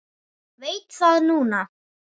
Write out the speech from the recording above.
Veit það núna.